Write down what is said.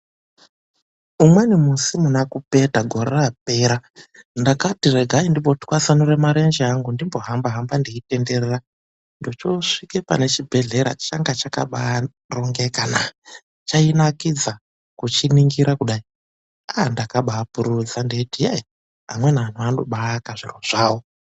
Umweni musi muna Kupeta gore rapera. Ndakati regai ndimbotwasanura marenje angu ndimbo hamba-hamba ndeitenderera. Ndochoosvike pane chibhedhlera changa chakabaa rongeka na. Chainakidza kuchiningira kudai. Ndakabaa pururudza ndeiti yei! Amweni anthu anobaa aka zvinthu zvawo.